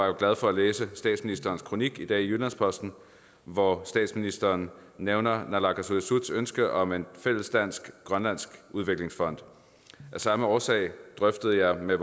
jo glad for at læse statsministerens kronik i dag i jyllands posten hvor statsministeren nævner naalakkersuisuts ønske om en fælles dansk grønlandsk udviklingsfond af samme årsag drøftede jeg med